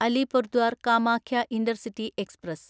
Alipurduar Kamakhya intercity express